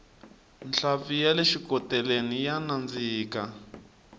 nhlampfi yale xikoteleni ya nandzika